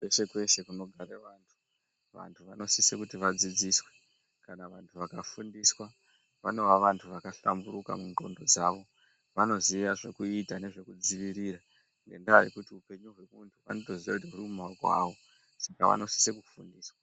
Kweshe Kweshe kunogara vantu. Vantu vanosise kuti vadzidziswe. Kana vantu vakafundiswa vanoa vantu vakahlamburuka munxondo dzavo. Vanoziva zvekuita nezvekudzivirira ngendaa yekuti upenyu hwemuntu vanotoziye kuti huri mumaoko avo saka vanosise kufundiswa.